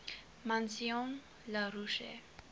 maison la roche